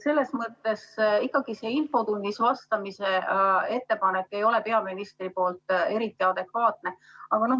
Selles mõttes see infotunnis vastamise ettepanek peaministrilt ei ole eriti adekvaatne.